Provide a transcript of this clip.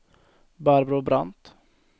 Barbro Brandt